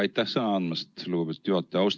Aitäh sõna andmast, lugupeetud juhataja!